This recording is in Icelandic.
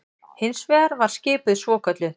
Hins vegar var skipuð svokölluð